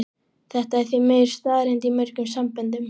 Þetta er því miður staðreynd í mörgum samböndum.